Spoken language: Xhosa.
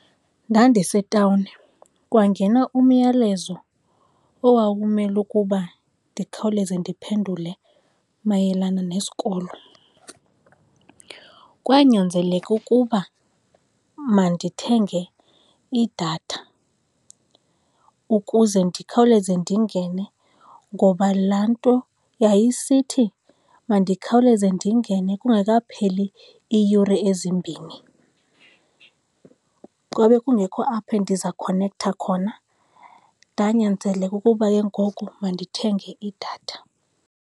Ndandisetawuni, kwangena umyalezo owawumele ukuba ndikhawuleze ndiphendule mayelana nesikolo. Kwanyanzeleka ukuba mandithenge idatha ukuze ndikhawuleze ndingene, ngoba laa nto yayisithi mandikhawuleze ndingene kungekapheli iiyure ezimbini, kwabe kungekho apho ndizakhonektha khona. Ndanyanzeleka ukuba ke ngoku mandithenge idatha.